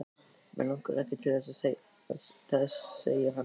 Mig langar ekki til þess segir hann.